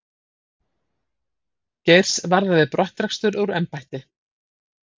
Geirs varða við brottrekstur úr embætti